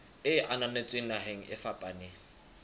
e ananetsweng naheng e fapaneng